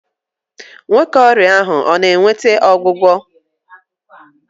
Nwoke ọrịa ahụ ọ na-nweta ọgwụgwọ?